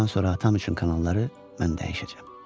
Bundan sonra atam üçün kanalları mən dəyişəcəm.